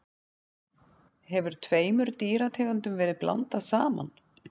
hefur tveimur dýrategundum verið blandað saman